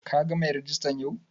Ka gan mai rejista yau?